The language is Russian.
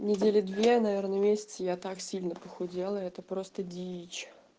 недели две наверное месяц я так сильно похудела это просто дичь